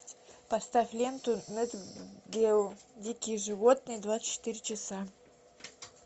поставь ленту нат гео дикие животные двадцать четыре часа